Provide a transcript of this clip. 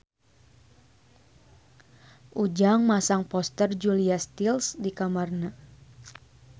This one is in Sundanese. Ujang masang poster Julia Stiles di kamarna